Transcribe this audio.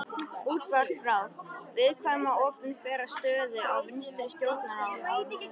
Útvarpsráðs, viðkvæma opinbera stöðu á vinstri stjórnarárunum.